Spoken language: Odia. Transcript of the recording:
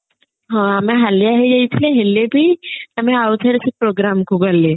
ହଁ ଆମେ ହାଲିଆ ହେଇ ଯାଇଥିଲେ ହେଲେ ବି ଆମେ ଆଉ ଥରେ ସେ programme କୁ ଗଲେ